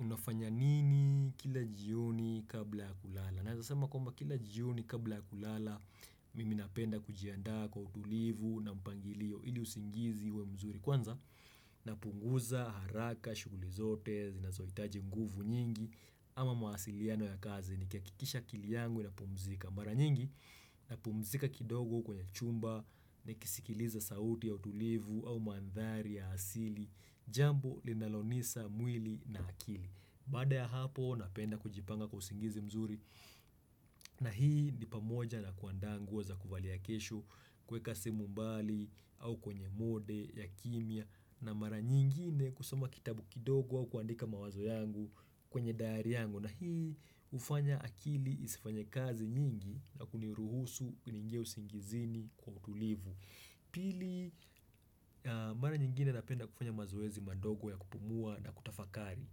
Unafanya nini kila jioni kabla ya kulala? Nawezasema kwamba kila jioni kabla ya kulala, mimi napenda kujianda kwa utulivu na mpangilio ili usingizi uwe mzuri. Kwanza, napunguza, haraka, shughuli zote, zinazoitaji nguvu nyingi, ama mahasiliano ya kazi nikihakikisha akili yangu inapumzika. Mara nyingi na pumzika kidogo kwenye chumba na kisikiliza sauti ya utulivu au mandhari ya asili Jambo linalonisa mwili na akili Bada ya hapo napenda kujipanga kwa usingizi mzuri na hii ni pamoja na kuanda nguo za kuvalia kesho kweka simu mbali au kwenye mode ya kimya na mara nyingine kusoma kitabu kidogo au kuandika mawazo yangu kwenye daari yangu na hii hufanya akili isifanye kazi nyingi na kuniruhusu niingie usingizini kwa utulivu Pili mara nyingine napenda kufanya mazoezi madogo ya kupumua na kutafakari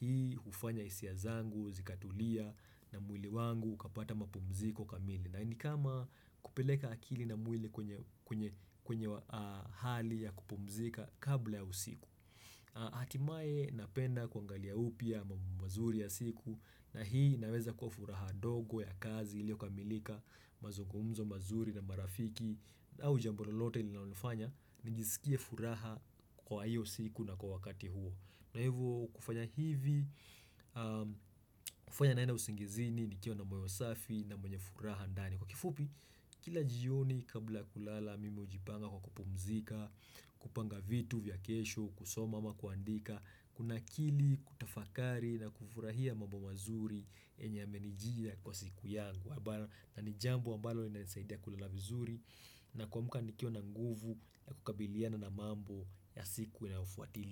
Hii hufanya hisia zangu, zikatulia na mwili wangu, kapata mapumziko kamili na nikama kupeleka akili na mwili kwenye hali ya kupumzika kabla ya usiku Hatimaye napenda kuangalia upya mambo mazuri ya siku na hii inaweza kuwa furaha dogo ya kazi ilioka milika mazugumzo mazuri na marafiki au jambololote ili naunifanya nijisikie furaha kwa hiyo siku na kwa wakati huo. Na hivyo kufanya hivi, kufanya naenda usingizini nikiwa na moyo safi na mwenye furaha ndani Kwa kifupi, kila jioni kabla kulala mime hujipanga kwa kupumzika, kupanga vitu vya kesho, kusoma ama kuandika Kuna kili kutafakari na kufurahia mambo mazuri yenya ymenijia kwa siku yangu na nijambo ambalo ina nisaidia kulala vizuri na kuamka nikiwa na nguvu ya kukabiliana na mambo ya siku na inayofuatili.